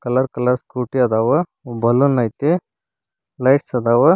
Colour colour scooty ಅದಾವ balloon ಐತಿ lights ಅದಾವ.